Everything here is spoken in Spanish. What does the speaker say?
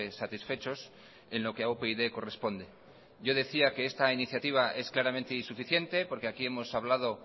satisfechos en lo que a upyd corresponde yo decía que esta iniciativa es claramente insuficiente porque aquí hemos hablado